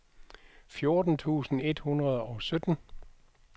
fjorten tusind et hundrede og sytten